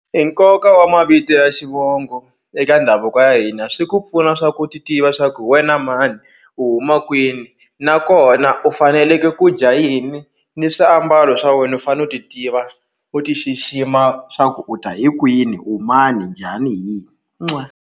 I nkoka wa mavito ya xivongo eka ndhavuko ya hina swi ku pfuna swa ku u titiva swa ku hi wena mani u huma kwini nakona u faneleke ku dya yini ni swiambalo swa wena u fanele u titiva u ti xixima swa ku u ta hi kwini u mani njhani hi yini .